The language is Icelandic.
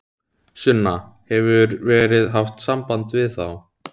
Sunna: Hefur verið haft samband við þá?